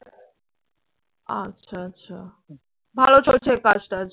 আচ্ছা, আচ্ছা ভালো চলছে কাজটাজ?